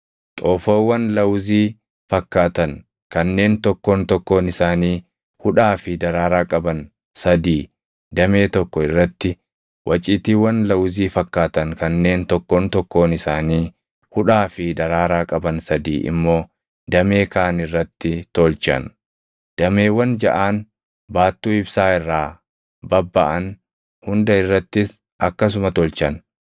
Xoofoowwan lawuzii fakkaatan kanneen tokkoon tokkoon isaanii hudhaa fi daraaraa qaban sadii damee tokko irratti, waciitiiwwan lawuzii fakkaatan kanneen tokkoon tokkoon isaanii hudhaa fi daraaraa qaban sadii immoo damee kaan irratti tolchan. Dameewwan jaʼaan baattuu ibsaa irraa babbaʼan hunda irrattis akkasuma tolchan.